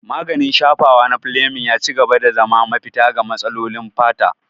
Maganin shafawa na Fleming ya ci gaba da zama mafita ga matsalolin fata.